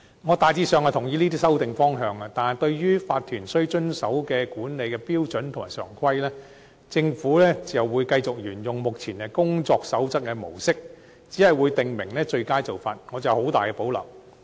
我大致上同意這些修訂方向，但對於法團須遵守的管理標準和常規，政府會繼續沿用目前"工作守則"的模式，只會訂明最佳做法。